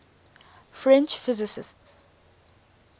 french physicists